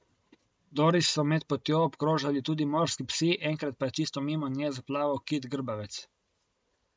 Doris so med potjo obkrožali tudi morski psi, enkrat pa je čisto mimo nje zaplaval kit grbavec.